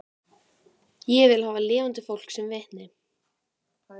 Ég vil hafa lifandi fólk sem vitni